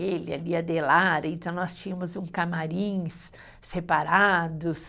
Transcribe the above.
ele e, então nós tínhamos um camarins separados.